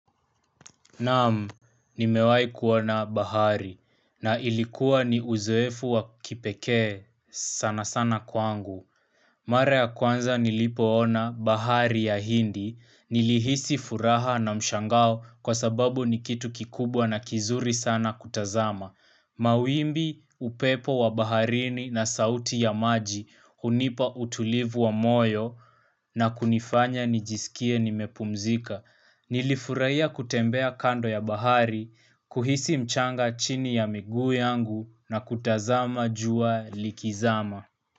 Namu, nimewai kuona bahari, na ilikuwa ni uzoefu wa kipekee sana sana kwangu. Mare ya kwanza nilipoona bahari ya hindi, nilihisi furaha na mshangao kwa sababu ni kitu kikubwa na kizuri sana kutazama. Mauimbi, upepo wa baharini na sauti ya maji, hunipa utulivu wa moyo, na kunifanya nijisikie nimepumzika. Nilifurahia kutembea kando ya bahari, kuhisi mchanga chini ya migu yangu na kutazama jua likizama.